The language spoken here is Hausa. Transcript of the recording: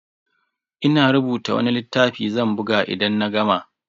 Ina rubuta wani littafi zan buga idan na gama.